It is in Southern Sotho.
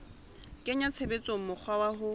kenya tshebetsong mokgwa wa ho